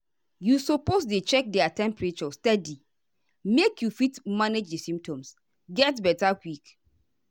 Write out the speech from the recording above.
you suppose dey check their temperature steady make you fit manage di symptoms get beta quick.